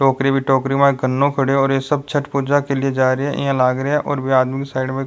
टोकरी बे टोकरी में गन्नो खड़ा है और सब छट पूजा के लिए जा रहे है ईया लाग रेहो है और ये आदमी की साइड में --